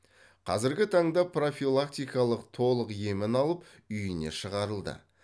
қазіргі таңда профилактикалық толық емін алып үйіне шығарылды